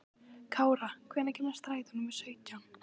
Kára, hvenær kemur strætó númer sautján?